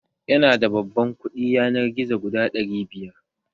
Yana da babban kuɗi yanar gizo guda ɗari biyar